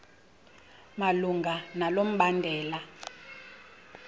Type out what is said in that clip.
malunga nalo mbandela